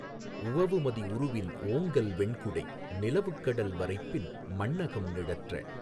உவவுமதி உருவின் ஓங்கல் வெண்குடை நிலவுக்கடல் வரைப்பின் மண்ணகம் நிழற்ற